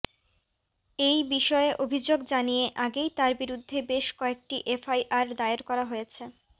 এই বিষয়ে অভিযোগ জানিয়ে আগেই তাঁর বিরুদ্ধে বেশ কয়েকটি এফআইআর দায়ের করা হয়েছে